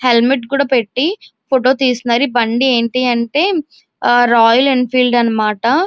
Helmet కూడా పెట్టి photo తెస్తునారు. బండి ఏంటి అంటే రాయల్ ఎన్ ఫీల్డ్ అన్నమాట.